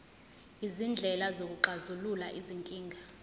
izindlela zokuxazulula izinkinga